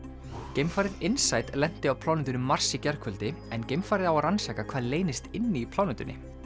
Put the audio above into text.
geimfarið lenti á plánetunni Mars í gærkvöldi en geimfarið á að rannsaka hvað leynist inni í plánetunni